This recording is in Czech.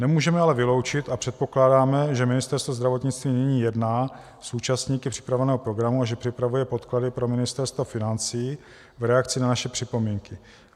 Nemůžeme ale vyloučit a předpokládáme, že Ministerstvo zdravotnictví nyní jedná s účastníky připravovaného programu a že připravuje podklady pro Ministerstvo financí v reakci na naše připomínky.